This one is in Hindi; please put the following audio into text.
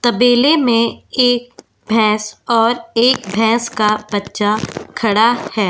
तबेले में एक भैंस और एक भैंस का बच्चा खड़ा है।